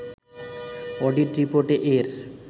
audit রিপোর্টে এর